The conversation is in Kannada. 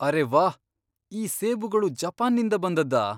ಅರೇ ವಾಹ್! ಈ ಸೇಬುಗಳು ಜಪಾನ್ನಿಂದ ಬಂದದ್ದಾ?